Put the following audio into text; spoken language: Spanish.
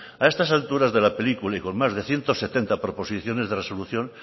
a estas alturas de la película y con más de ciento setenta proposiciones de resolución